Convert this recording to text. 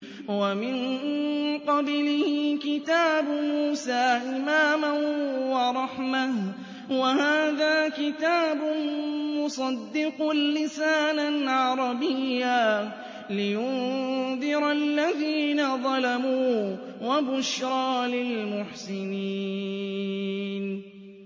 وَمِن قَبْلِهِ كِتَابُ مُوسَىٰ إِمَامًا وَرَحْمَةً ۚ وَهَٰذَا كِتَابٌ مُّصَدِّقٌ لِّسَانًا عَرَبِيًّا لِّيُنذِرَ الَّذِينَ ظَلَمُوا وَبُشْرَىٰ لِلْمُحْسِنِينَ